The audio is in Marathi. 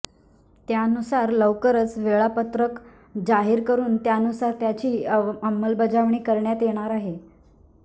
त्यानुसार लवकरच वेळापत्रक जाहीर करुन त्यानुसार त्याची अंमलबजावणी करण्यात येणार आहे